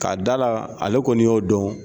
Ka da la, ale kɔni y'o dɔn